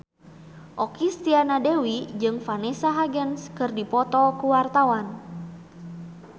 Okky Setiana Dewi jeung Vanessa Hudgens keur dipoto ku wartawan